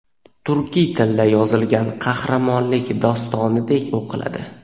turkiy tilda yozilgan qahramonlik dostonidek o‘qiladi.